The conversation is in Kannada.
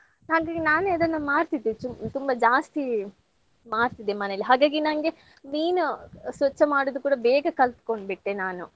ಹಾಗಾಗಿ ನಾನೆ ಅದನ್ನ ಮಾಡ್ತಿದ್ದೆ ಚು~ ತುಂಬಾ ಜಾಸ್ತಿ ಮಾಡ್ತಿದ್ದೆ ಮನೇಲಿ ಹಾಗಾಗಿ ನಂಗೆ ಮೀನು ಸ್ವಚ್ಛ ಮಾಡೋದು ಕೂಡಾ ಬೇಗ ಕಲ್ತ್ಕೊಂಡ್ಬಿಟ್ಟೆ ನಾನು.